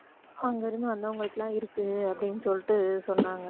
அங்க இருந்து வந்தவங்களுக்குலாம் இருக்கு அப்படின்னு சொல்லிட்டு சொன்னாங்க